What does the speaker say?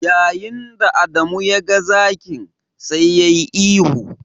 Yayin da Adamu ya ga zakin, sai yayi ihu.